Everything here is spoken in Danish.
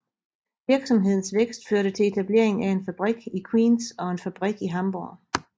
Virksomhedens vækst førte til etablering af en fabrik i Queens og en fabrik i Hamborg